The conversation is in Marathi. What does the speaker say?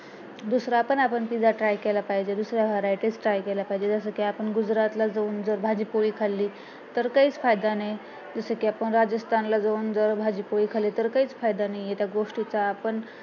दुसरा पण आपण pizza try केला पाहिजे दुसरा varieties try केला पाहिजे जसेकी आपण गुजरात ला जाऊन जर भाजी पोळी खाल्ली तर काहीच फायदा नाही जसेकी आपण राजस्थान ला जाऊन भाजी पोळी खाल्ली तर काहीच फायदा नाही त्या गोष्टीचा आपण